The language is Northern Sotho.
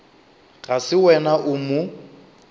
ga se wena o mo